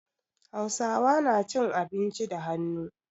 Hausawa na cin abinci da hannu.